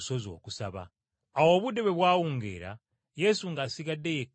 Awo obudde bwe bwawungeera, Yesu ng’asigadde yekka ku lukalu,